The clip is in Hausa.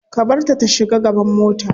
Ka barta ta shiga gaban mota.